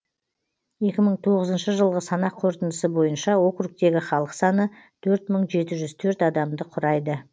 екі мың тоғызыншы жылғы санақ қорытындысы бойынша округтегі халық саны төрт мың жеті жүз төрт адамды құрайды